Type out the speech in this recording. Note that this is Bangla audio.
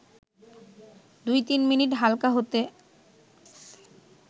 ২-৩ মিনিট হালকা হাতে